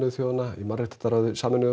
þjóðanna í mannréttindaráði Sameinuðu